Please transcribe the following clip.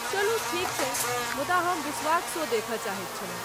चलू ठीक छै, मुदा हम बिश्वाक शो देखय चाहैत छलहुँ।